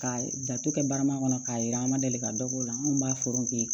Ka datugu kɛ barama kɔnɔ k'a yira an ma deli ka dɔ k'o la anw b'a fɔ k'i